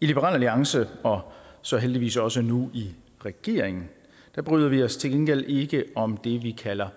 i liberal alliance og så heldigvis også nu i regeringen bryder vi os til gengæld ikke om det vi kalder